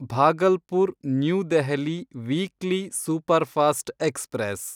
Bhagalpur New Delhi weekly superfast express